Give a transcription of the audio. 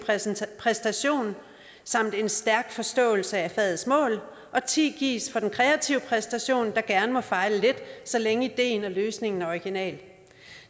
præstation samt en stærk forståelse af fagets mål og at ti gives for den kreative præstation der gerne må fejle lidt så længe ideen og løsningen er original